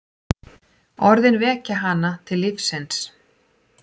Orðin vekja hana til lífsins.